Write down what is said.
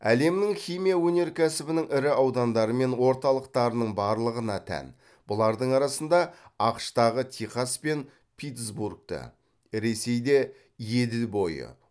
әлемнің химия өнеркәсібінің ірі аудандары мен орталықтарының барлығына тән бұлардың арасында ақш тағы техас пен питтсбургті ресейде еділ бойы